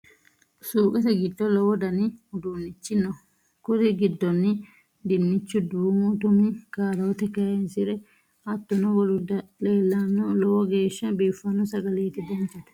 Suqete giddo low Dani udunichi noo kuri giddonni dinchu ,dumu Tumi, karote kayisire hattono woluri leelanno low geshsha bifano sagaleti danchate